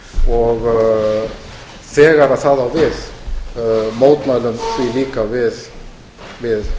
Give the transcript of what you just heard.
og þegar það á við mótmælum því líka við